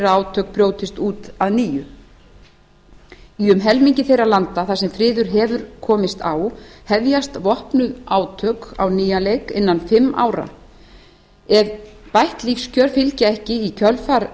átök brjótist út að nýju í um helmingi þeirra landa þar sem friður hefur komist á hefjast vopnuð átök á nýjan leik innan fimm ára ef bætt lífskjör fylgja ekki í kjölfar